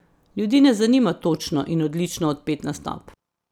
Ljudi ne zanima točno in odlično odpet nastop.